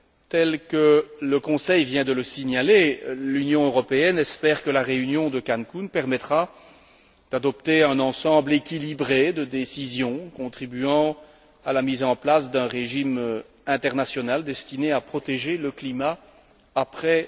Comme le Conseil vient de le signaler, l'Union européenne espère que la réunion de Cancún permettra d'adopter un ensemble équilibré de décisions contribuant à la mise en place d'un régime international destiné à protéger le climat après